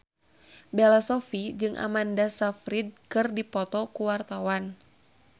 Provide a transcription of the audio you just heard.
Bella Shofie jeung Amanda Sayfried keur dipoto ku wartawan